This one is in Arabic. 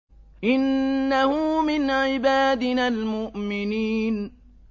إِنَّهُ مِنْ عِبَادِنَا الْمُؤْمِنِينَ